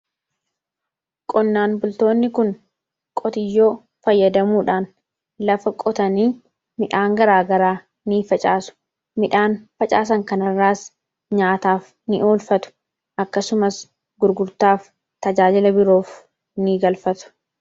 qonnaan bultoonni kun qotiyyoo fayyadamuudhaan lafa qotanii midhaan garaagaraa ni facaasu. midhaan facaasan kanarraas nyaataaf ni olfatu akkasumas gurgurtaaf tajaajila biroof ni oolfatu.